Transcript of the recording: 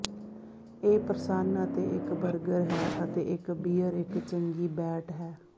ਇਹ ਪ੍ਰਸੰਨ ਅਤੇ ਇੱਕ ਬਰਗਰ ਹੈ ਅਤੇ ਇੱਕ ਬੀਅਰ ਇੱਕ ਚੰਗੀ ਬੈਟ ਹੈ